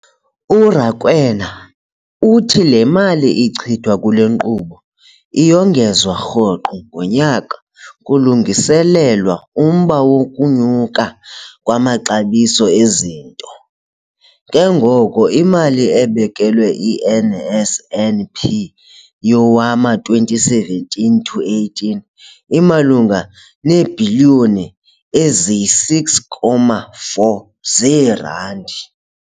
URakwena uthi le mali ichithwa kule nkqubo iyongezwa rhoqo ngonyaka kulungiselelwa umba wokunyuka kwamaxabiso ezinto, ke ngoko imali ebekelwe i-NSNP yowama-2017 to 18 imalunga neebhiliyoni eziyi-6.4 zeerandi.